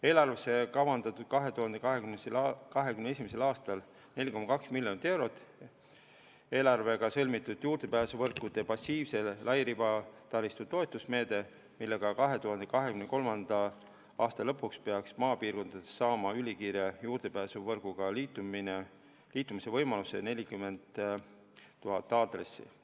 Eelarvesse on kavandatud 2021. aastal 4,2 miljoni eurone Elektrileviga sõlmitud juurdepääsuvõrkude passiivse lairibataristu toetusmeede, millega 2023. aasta lõpuks peaks maapiirkondades saama ülikiire juurdepääsuvõrguga liitumise võimaluse 40 000 aadressi.